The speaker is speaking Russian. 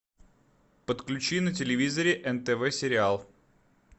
подключи на телевизоре нтв сериал